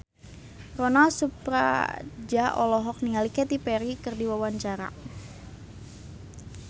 Ronal Surapradja olohok ningali Katy Perry keur diwawancara